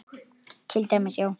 Til dæmis, já.